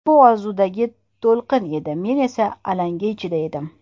Bu orzudagi to‘lqin edi, men esa alanga ichida edim.